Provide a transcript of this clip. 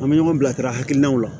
An bɛ ɲɔgɔn bilasira hakilinaw la